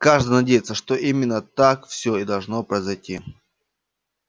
каждый надеется что именно так все и должно произойти